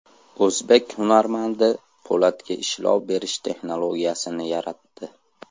O‘zbek hunarmandi po‘latga ishlov berish texnologiyasini yaratdi.